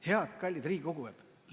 Head, kallid riigikogujad!